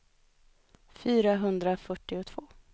fyrahundrafyrtiotvå